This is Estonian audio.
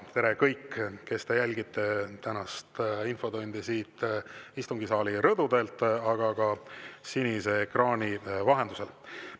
Tere, kõik, kes te jälgite tänast infotundi siit istungisaali rõdu pealt, aga ka sinise ekraani vahendusel!